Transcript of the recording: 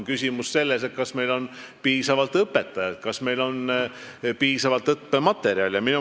Küsimus on selles, et kas meil on piisavalt õpetajaid ja kas meil on piisavalt õppematerjale.